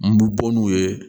N bi bɔ n'u ye